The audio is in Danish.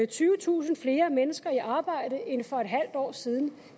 tyvetusind flere mennesker i arbejde end for et halvt år siden